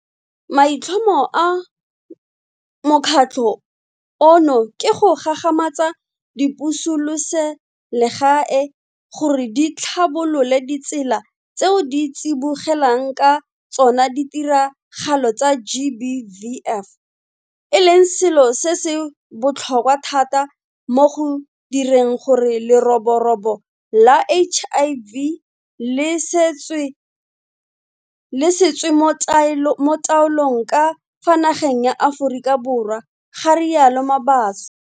Maitlhomo a mokgatlho ono ke go gagamatsa dipusoselegae gore di tlhabolole ditsela tseo di tsibogelang ka tsona ditiragalo tsa GBVF, e leng selo se se botlhokwa thata mo go direng gore leroborobo la HIV le se tswe mo taolong ka fa nageng ya Aforika Borwa, ga rialo Mabaso.